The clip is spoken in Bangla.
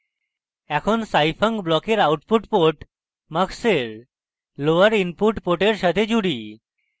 এখন scifunc ব্লকের output port mux এর lower input port সাথে জুড়ি